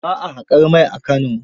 Ba a haƙar mai A Kano.